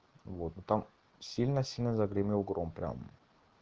вот но там сильно-сильно загремел гром прям